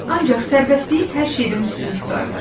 Ancaq sərvəstliyi hər şeydən üstün tutardı.